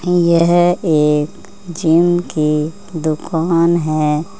यह एक जिम की दुकान है।